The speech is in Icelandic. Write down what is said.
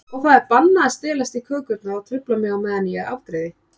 Og það er bannað að stelast í kökurnar og trufla mig á meðan ég afgreiði.